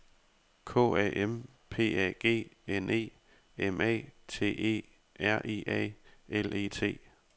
K A M P A G N E M A T E R I A L E T